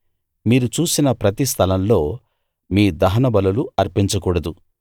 మీరు చూసిన ప్రతి స్థలంలో మీ దహనబలులు అర్పించకూడదు